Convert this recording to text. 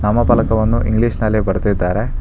ನಾಮ ಫಲಕವನ್ನು ಇಂಗ್ಲಿಷ್ ನಲ್ಲಿ ಬರೆದಿದ್ದಾರೆ.